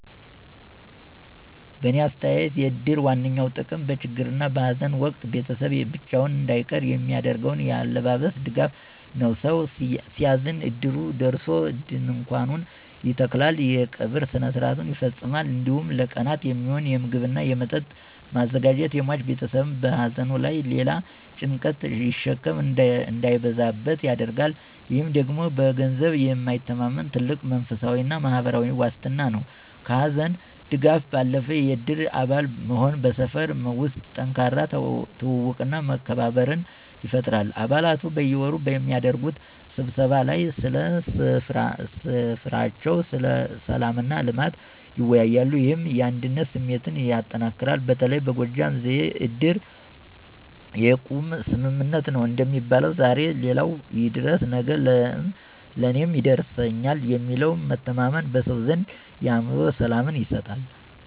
በእኔ አስተያየት የእድር ዋነኛው ጥቅም በችግርና በሃዘን ወቅት ቤተሰብ ብቻውን እንዳይቀር የሚያደርገው ያላሰለሰ ድጋፍ ነው። ሰው ሲያዝን ዕድሩ ደርሶ ድንኳኑን ይተክላል፣ የቀብር ሥርዓቱን ያስፈጽማል፣ እንዲሁም ለቀናት የሚሆን ምግብና መጠጥ በማዘጋጀት የሟች ቤተሰብ በሃዘኑ ላይ ሌላ የጭንቀት ሸክም እንዳይበዛበት ያደርጋል። ይህ ደግሞ በገንዘብ የማይተመን ትልቅ መንፈሳዊና ማህበራዊ ዋስትና ነው። ከሃዘን ድጋፍ ባለፈ፣ የእድር አባል መሆን በሰፈር ውስጥ ጠንካራ ትውውቅና መከባበርን ይፈጥራል። አባላቱ በየወሩ በሚያደርጉት ስብሰባ ላይ ስለ ሰፈራቸው ሰላምና ልማት ይወያያሉ፤ ይህም የአንድነት ስሜትን ያጠናክራል። በተለይ በጎጃም ዘዬ "ዕድር የቁም ስምምነት ነው" እንደሚባለው፣ ዛሬ ለሌላው የደረሰ ነገ ለእኔም ይደርስልኛል የሚለው መተማመን በሰው ዘንድ የአእምሮ ሰላምን ይሰጣል።